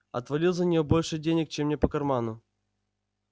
отвалил за нее больше денег чем мне по карману